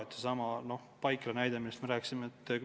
No seesama Paikre näide, millest juttu oli.